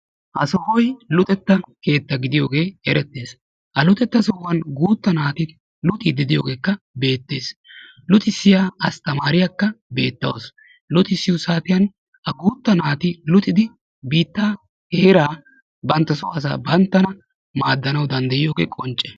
Ha sohoy luxetta keetta gidiyoge eretees. Ha luxetta sohuwan guuta naati luxidi de'iyogeka betees. Luxisiya asttamariyaka betawusu. Luxusiyo saatiyan ha guuta naati biitaa heera bantto so asa banttana maadanwu danddayiyoge qoncce.